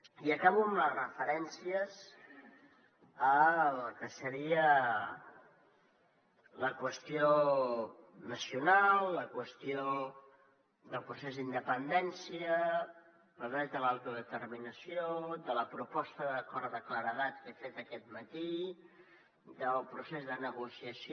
i acabo amb les referències a la que seria la qüestió nacional la qüestió del procés d’independència el dret a l’autodeterminació de la proposta d’acord de claredat que he fet aquest matí del procés de negociació